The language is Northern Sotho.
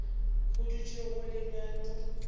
go dutše go le bjalo